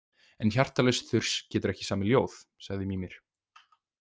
En hjartalaus þurs getur ekki samið ljóð, sagði Mímir.